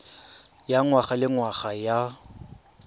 ya ngwaga le ngwaga ya